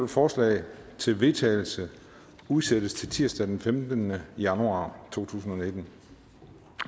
forslag til vedtagelse udsættes til tirsdag den femtende januar to tusind